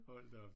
Hold da op